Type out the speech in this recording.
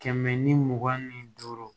Kɛmɛ ni mugan ni duuru